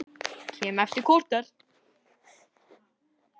Kem eftir korter!